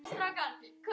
Hvað segja lögin?